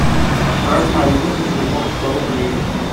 отправь марине на телефон сто рублей